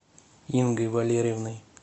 ингой валерьевной